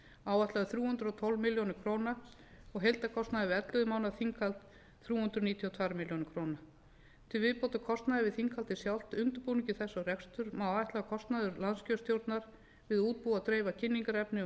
áætlaður þrjú hundruð og tólf milljónir króna og heildarkostnaður við ellefu mánaða þinghald þrjú hundruð níutíu og tvær milljónir króna til viðbótar kostnaði við þinghaldið sjálft undirbúning þess og rekstur má ætla að kostnaður landskjörstjórnar við að útbúa og dreifa kynningarefni um